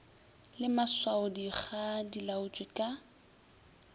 le maswaodikga di laotšwe ka